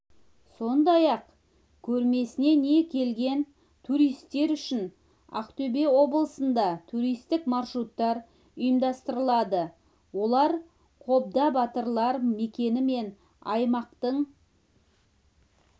сондай-ақ көрмесіне келген туристер үшін ақтөбе облысында туристік маршруттар ұйымдастырылады олар қобда батырлар мекені мен аймақтың